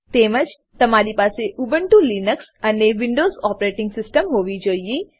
તેમજ તમારી પાસે ઉબુન્ટુ લીનક્સ અને વિન્ડોવ્ઝ ઓપરેટીંગ સીસ્ટમ હોવી જોઈએ